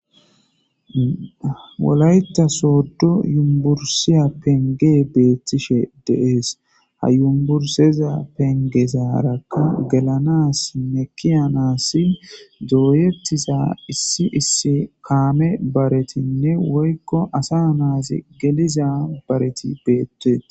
Wolayta sooddu yumbursiya penge beettishe deees ha yumburseza pengesaarakka gelanas mekiya naassin dooyettiza issi issi kaame baretinne woykko asa naazi geliza bareti beetteet.